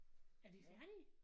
Er vi færdige?